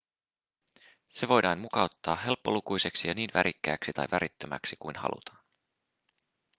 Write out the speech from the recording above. se voidaan mukauttaa helppolukuiseksi ja niin värikkääksi tai värittömäksi kuin halutaan